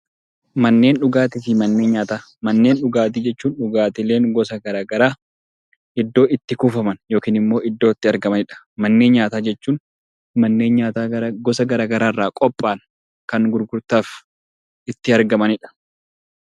Manneen dhugaatii jechuun dhugaatiileen gosa garaagaraa iddoo itti kuufaman yookiin immoo iddoo itti argamanidha. Manneen nyaataa jechuun manneen nyaataa gosa garaagaraa irraa qophaa'an kan gurgurtaaf itti argamanidha.